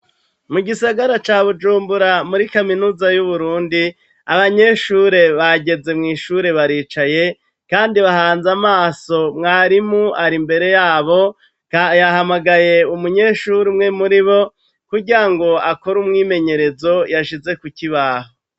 Mu gisagara ca Bujumbura muri kaminuza y'Uburundi, abanyeshure bageze mw'ishure, baricaye kandi bahanze amaso mwarimu ari mbere yabo, yahamagaye umunyeshuri umwe muri bo, kugira ngo akora umwimenyerezo yashize kukibaho.